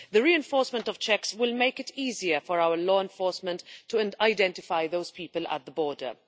The reinforcement of checks will make it easier for our law enforcement agencies to identify those people at the border.